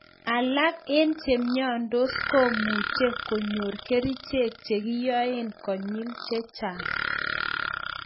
Alak en chemyondos komuche konyor kerichek che kinyoen konyil chechang